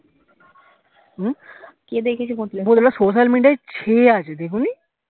হম social media এ ছেঁয়ে আছে দেখোনি